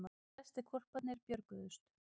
Flestir hvolparnir björguðust